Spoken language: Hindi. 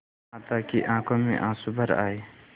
माता की आँखों में आँसू भर आये